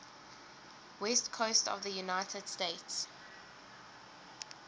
west coast of the united states